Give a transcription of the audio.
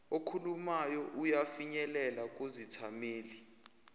okhulumayo uyafinyelela kuzithameli